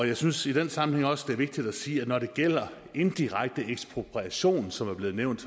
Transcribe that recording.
jeg synes i den sammenhæng også vigtigt at sige når det gælder indirekte ekspropriation som er blevet nævnt